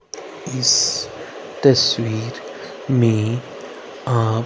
इस तस्वीर में आप--